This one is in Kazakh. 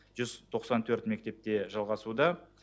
жүз тоқсан төрт мектепте жалғасуда